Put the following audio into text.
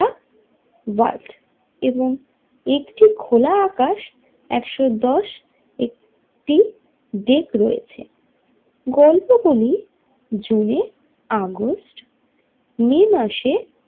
Vault এবং একটি খোলা আকাশ একশো দশ একটি ডেক রয়েছে গল্পগুলি জুন আগস্ট মে মাসে।